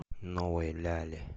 новой ляле